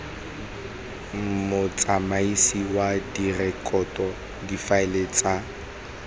motsamaisi wa direkoto difaele tsa